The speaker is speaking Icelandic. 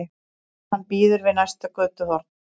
Hann bíður við næsta götuhorn.